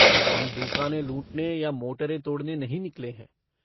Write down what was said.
हम दूकानें लूटने या मोटरें तोड़ने नहीं निकले हैं।